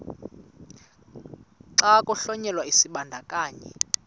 xa kuhlonyelwa isibandakanyi